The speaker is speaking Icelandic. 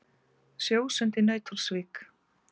Sjósund í Nauthólsvík.